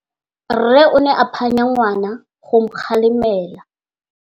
Rre o ne a phanya ngwana go mo galemela.